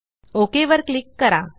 okay वर click करा